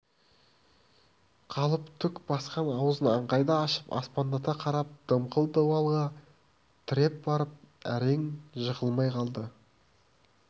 қалып түк басқан аузын аңқайта ашып аспандата қарап дымқыл дуалға тіреп барып әрең жығылмай қалды